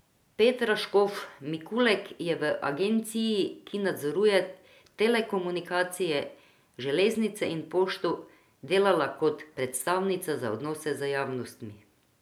Petra Škof Mikulek je v agenciji, ki nadzoruje telekomunikacije, železnice in pošto, delala kot predstavnica za odnose z javnostmi.